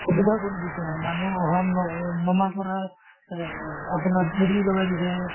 সুবিধা কৰি দিছে মানুহ অহা ন নমা কৰা এহ আপোনাৰ চিৰি লগাই দিছে